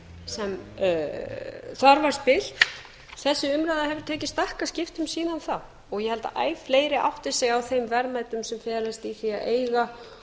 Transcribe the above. sem þar var þessi umræða hefur tekið stakkaskiptum síðan þá og ég held að æ fleiri átti sig á þeim verðmætum sem felast í því að eiga